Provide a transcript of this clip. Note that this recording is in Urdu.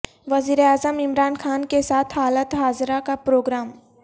وزیر اعظم عمران خان کے ساتھ حالات حاضرہ کا پروگرام